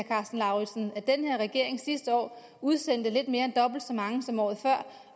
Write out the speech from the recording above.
karsten lauritzen at den her regering sidste år udsendte lidt mere end dobbelt så mange som året før